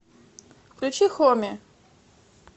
включи хоми